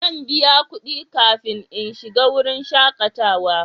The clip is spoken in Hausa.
Zan biya kudi kafin in shiga wurin shakatawa.